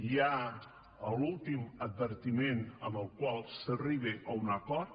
hi ha l’últim advertiment amb el qual s’arriba a un acord